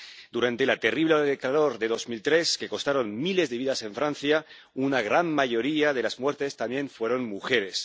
Durante la terrible ola de calor de 2003, que costó miles de vidas en Francia, una gran mayoría de las muertes también fueron mujeres.